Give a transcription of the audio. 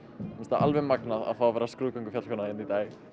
alveg magnað að fá að vera skrúðgöngufjallkona hérna í dag